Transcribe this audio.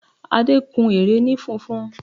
Adé kun ère ni funfun